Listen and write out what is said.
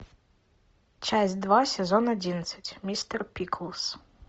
часть два сезон одиннадцать мистер пиклз